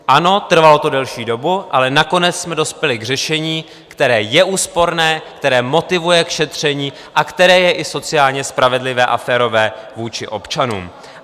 Ano, trvalo to delší dobu, ale nakonec jsme dospěli k řešení, které je úsporné, které motivuje k šetření a které je i sociálně spravedlivé a férové vůči občanům.